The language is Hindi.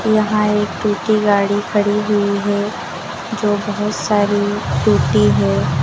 यहां एक टूटी गाड़ी पड़ी हुई है जो बहोत सारी टूटी है।